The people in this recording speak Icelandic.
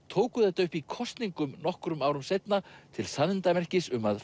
tóku þetta upp í kosningum nokkrum árum seinna til sannindamerkis um að